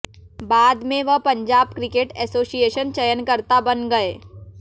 बाद में वह पंजाब क्रिकेट एसोसिएशन चयनकर्ता बन गए